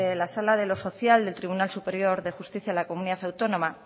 la sala de los social del tribunal superior de justicia en la comunidad autónoma